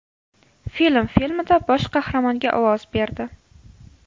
Film” filmida bosh qahramonga ovoz berdi.